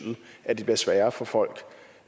at det bliver sværere for folk